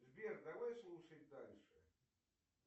сбер давай слушать дальше